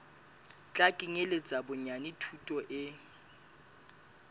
tla kenyeletsa bonyane thuto e